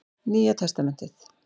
Nýja testamentið.